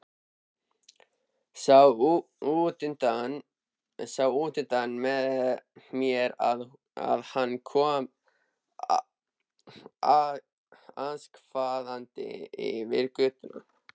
Sá útundan mér að hann kom askvaðandi yfir götuna.